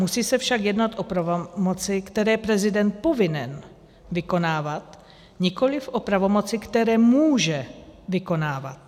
Musí se však jednat o pravomoci, které je prezident povinen vykonávat, nikoliv o pravomoci, které může vykonávat.